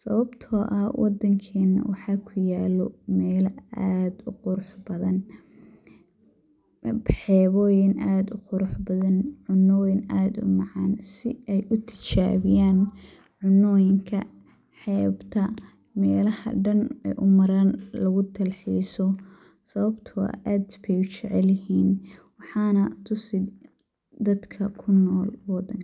,sawabtoo ah wadankeena waxaa ku yaalo meela aad u qurux badan ,xebooyin aad u qurux badan ,cunnoyin aad u macaan ,si ay u tijabiyaan cunnoyinka xeebta meelaha dhan ay u maraan lagu dal-xiiso ,sawabtoo ah aad bey u jecel yihiin . Waxaana tusi dadka kunool oo dhan.